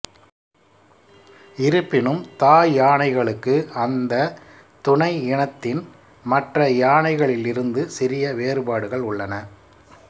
இருப்பினும் தாய் யானைகளுக்கு அந்த துணை இனத்தின் மற்ற யானைகளிலிருந்து சிறிய வேறுபாடுகள் உள்ளன